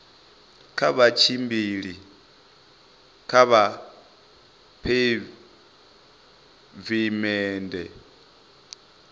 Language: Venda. kha vha tshimbile kha pheivimennde